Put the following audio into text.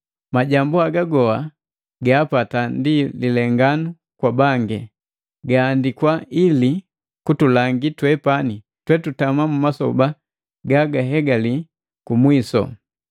Majambu haga goha gaapata ndi lilenganu kwa bangi, gahandikwa ili kutulangi twepani twetutama mu masoba gagahegali kumwisu.